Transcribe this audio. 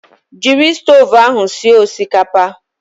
Jiri stovu ahụ sie osikapa!